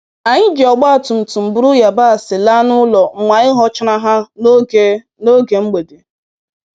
Anyị ji ọgba tụtụm buru yabasị laa n'ụlọ mgbe anyị ghọchara ha n'oge n'oge mgbede.